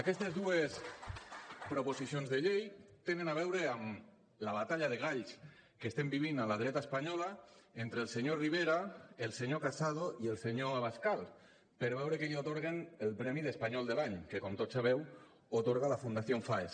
aquestes dues proposicions de llei tenen a veure amb la batalla de galls que estem vivint a la dreta espanyola entre el senyor rivera el senyor casado i el senyor abascal per veure a qui li atorguen el premi d’espanyol de l’any que com tots sabeu atorga la fundación faes